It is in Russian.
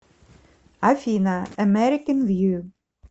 афина эмэрикэн вью